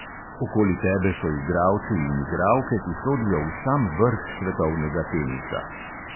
Okoli tebe so igralci in igralke, ki sodijo v sam vrh svetovnega tenisa.